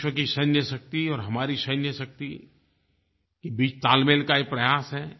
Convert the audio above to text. विश्व की सैन्यशक्ति और हमारी सैन्यशक्ति के बीच तालमेल का एक प्रयास है